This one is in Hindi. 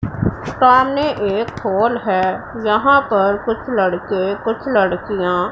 सामने एक हॉल है यहां पर कुछ लड़के कुछ लड़कियां--